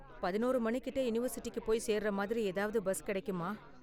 பதினொறு மணி கிட்ட யூனிவர்சிட்டிக்கு போய் சேருற மாதிரி ஏதாவது பஸ் கெடைக்குமா?